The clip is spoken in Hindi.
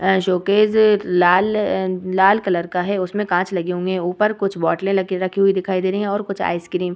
यह शोकेस लाल अ लाल कलर का है उसमें काँच लगे होंगे ऊपर कुछ बोतलें लेके रखी हुई दिखाई दे रहीं हैं और कुछ आइसक्रीम --